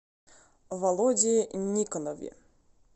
володе никонове